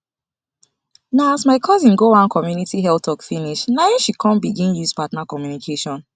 na as my cousin go one community health talk finish na em she come begin use partner communication